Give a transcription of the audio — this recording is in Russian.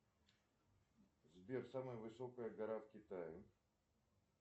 сбер самая высокая гора в китае